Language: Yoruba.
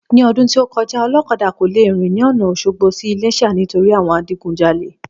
Ní ọdún tí o kọjá olókadà kò le rìn ní ọ̀na Òsogbo sí iléṣà nítorí àwọn Adigunjalè